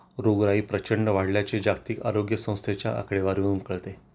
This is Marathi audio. रोगराई प्रचंड वाढल्याची जागतिक आरोग्य संस्थेच्या आकडेवारीवरून कळते